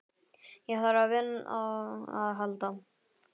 Ég þarf á vini að halda.